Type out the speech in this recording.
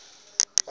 sinemtsimba